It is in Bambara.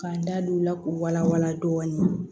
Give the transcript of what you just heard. Ka n da don o la k'o wala wala dɔɔnin